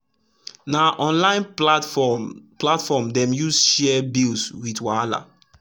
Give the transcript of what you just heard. na online platform platform dem use share bills with wahala